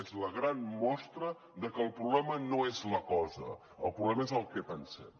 és la gran mostra que el problema no és la cosa el problema és el que pensem